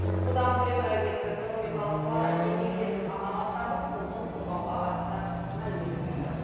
бұдан бөлек әлеуметтік экономикалық салада еңбек ететін азаматтардың құқығын қорғауға қатысты мәлімет берді